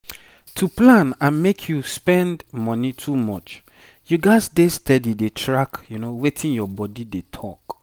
to plan and make you spend money too much you gats dey steady dey track wetin your body dey talk.